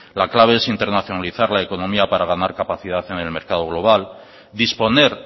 la clave es internacionalizar la economía para ganar capacidad en el mercado global disponer